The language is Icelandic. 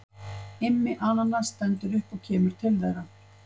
Immi ananas stendur upp og kemur til þeirra.